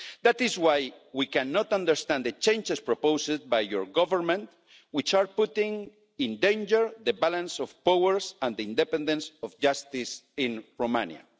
That is why we cannot understand the changes proposed by your Government, which are putting in danger the balance of powers and the independence of justice in Romania.